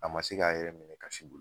A ma se k'a yɛrɛ minɛ kasi bolo.